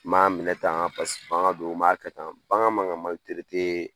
N m'a minɛ tan paseke bagan don an ma kɛ tan bagan man ka